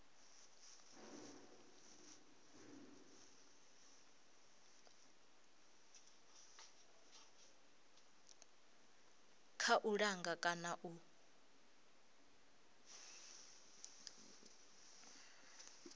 kha u langa kana u